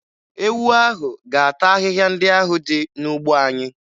Ewu ahụ ga-ata ahịhịa ndị ahụ dị n'ugbo anyị.